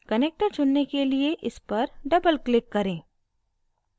connector चुनने के लिए इस पर doubleclick करें